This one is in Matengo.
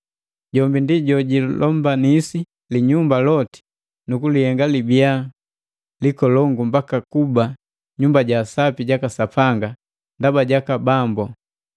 Jombi ndi jojilombanisi linyumba loti nu kulihenga libiya likolongu mbaka kuba Nyumba ja Sapi jaka Sapanga ndaba jaka Bambu.